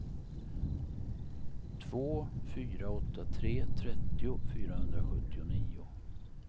två fyra åtta tre trettio fyrahundrasjuttionio